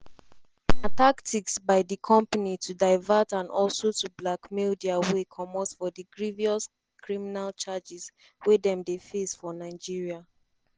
na tactics by di company to divert and also to blackmail dia way comot for di grievous criminal charges wey dem dey face for nigeria.”